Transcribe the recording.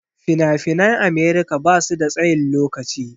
Fina-finan america basu da tsayin lokaci.